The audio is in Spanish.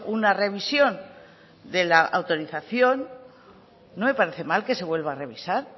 una revisión se la autorización no me parece mal que se vuelva a revisar